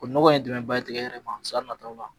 O nɔgɔ ye dɛmɛn ba tigɛ yɛrɛ san nataw la.